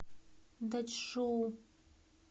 дачжоу